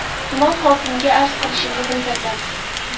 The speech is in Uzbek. Tuman hokimiga arz qilishimni bildirdim.